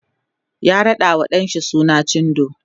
ya raɗawa ɗan shi suna cindo